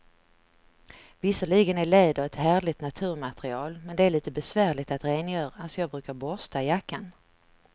Visserligen är läder ett härligt naturmaterial, men det är lite besvärligt att rengöra, så jag brukar borsta jackan.